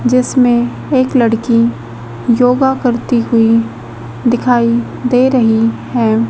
जिसमें एक लड़की योग करती हुई दिखाई दे रही है।